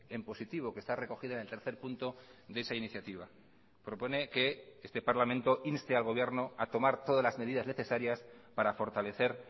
en positivo que está recogido en el tercer punto de esa iniciativa propone que este parlamento inste al gobierno a tomar todas las medidas necesarias para fortalecer